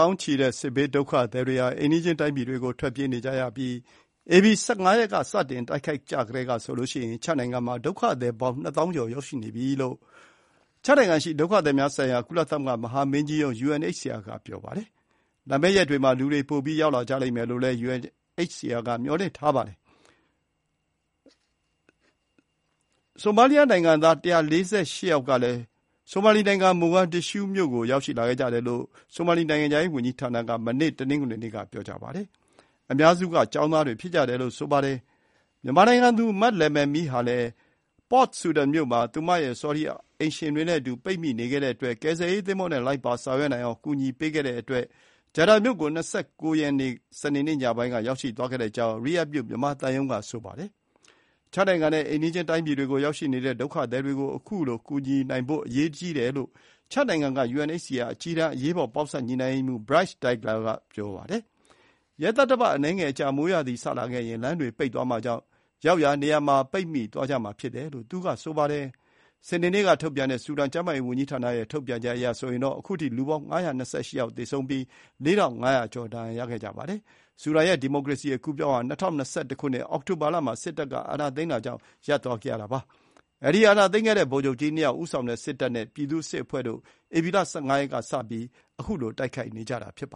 ောင်းချီတဲ့စစ်ဘေးဒုက္ခသည်တွေဟာ အိမ်နီးချင်းတိုင်းပြည်တွေကို ထွက်ပြေးနေကြရပြီး ဧပြီ ၁၅ ရက် စတင်တိုက်ခိုက်ကြကတည်းကဆိုရင် ချဒ် နိုင်ငံမှာ ဒုက္ခသည်ပေါင်း ၂ သောင်းကျော် ရောက်နေကြပြီလို့ ချဒ်နိုင်ငံရှိ ဒုက္ခသည်များဆိုင်ရာ ကုလသမဂ္ဂမဟာမင်းကြီး ရုံး UNHCR က ဆိုပါတယ်။ လာမယ့်ရက်တွေမှာ လူတွေ ပိုရောက်လာကြမယ်လို့ UNHCR က မျှော်လင့်ထားကြောင်း ပြောပါတယ်။ ဆိုမာလီနိုင်ငံသား ၁၄၈ ယောက်ကလည်း ဆိုမာလီနိုင်ငံ မိုဂါဒစ်ရှူးမြို့ကို ရောက်ရှိလာခဲ့ကြတယ်လို့ ဆိုမာလီ နိုင်ငံခြားရေးဝန်ကြီးဌာနက မနေ့ တနင်္ဂနွေနေ့ က ပြောပါတယ်။ အများစုက ကျောင်းသားတွေဖြစ်ကြတယ်လို့ ပြောပါတယ်။ မြန်မာနိုင်ငံသူ မလယ်မယ်မီးဟာလည်း Port Sudan မြို့မှာ သူမရဲ့ ဆော်ဒီ အိမ်ရှင်တွေနဲ့အတူ ပိတ်မိနေခဲ့တဲ့အတွက် ကယ်ဆယ်ရေးသင်္ဘောနဲ့ လိုက်ပါဆောင်ရွက်နိုင်အောင် ကူညီဆောင်ရွက်ပေးခဲ့တဲ့အတွက် ဂျက်ဒါမြို့ကို ၂၉-၄-၂၀၂၃ ရက် ညပိုင်းက ရောက်ရှိသွားခဲ့ကြောင်း ရီရတ်ဒ်မြို့ မြန်မာသံရုံး က ပြောပါတယ်။ ချဒ်နိုင်ငံနဲ့ အိမ်နီးချင်းတိုင်းပြည်တွေကို ရောက်ရှိနေကြတဲ့ ဒုက္ခသည်တွေကို အခုကူညီနိုင်ဖို့ အရေးကြီးတယ်လို့ ချဒ်နိုင်ငံ UNHCR က အကြီးတန်း အရေးပေါ် ပေါင်းစပ်ညှိုနှိုူင်းရေးမှူး Brice Degla က ပြောပါတယ်။ ရက်သတ္တပတ် အနည်းငယ်အကြာ မိုးရာသီ စလာခဲ့ရင် လမ်းတွေပိတ်သွားမှာကြောင့်ရောက်ရာနေရာမှာ ပိတ်မိသွားကြမှာဖြစ်တယ်လို့ သူကဆိုပါတယ်။ စနေနေ့ကထုတ်ပြန်တဲ့ ဆူဒန်ကျန်းမာရေးဝန်ကြီးဌာနရဲ့ ထုတ်ပြန်ချက်အရ အခုထိ လူပေါင်း ၅၂၈ ယောက် သေဆုံးပြီး ၄,၅၀၀ ကျော် ဒဏ်ရာရခဲ့ပါတယ်။ ဆူဒန်ရဲ့ ဒီမိုကရေစီအကူးအပြောင်းဟာ ၂၀၂၁ ခုနှစ် အောက်တိုဘာလမှာ စစ်တပ်က အာဏာသိမ်းတာကြောင့် ရပ်သွားခဲ့ရတာပါ။ အဲဒီ အာဏာသိမ်းခဲ့တဲ့ ဗိုလ်ချုပ်ကြီး ၂ ယောက် ဦးဆောင်တဲ့စစ်တပ်နဲ့ ပြည်သူ့စစ်အဖွဲ့တို့ ဧပြီလ ၁၅ ရက်ကစပြီး တိုက်ခိုက်နေကြတာဖြစ်ပါ